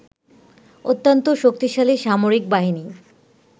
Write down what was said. অত্যন্ত শক্তিশালী সামরিক বাহিনী